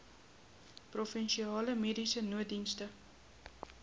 provinsiale mediese nooddienste